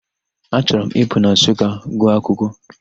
Achọrọ m Ịpụ na Nsụka gụọ akwụkwọ.